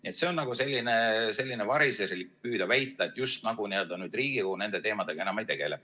Nii et on nagu variserlik püüda väita, just nagu Riigikogu nende teemadega enam ei tegele.